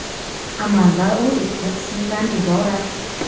Amalda u ikki qismdan iborat.